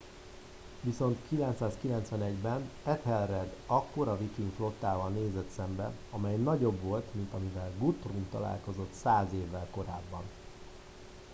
viszont 991 ben ethelred akkora viking flottával nézett szembe amely nagyobb volt mint amivel guthrum találkozott száz évvel korábban